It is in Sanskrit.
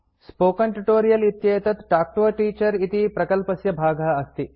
स्पोकेन ट्यूटोरियल् इत्येतत् तल्क् तो a टीचर इति प्रकल्पस्य भागः अस्ति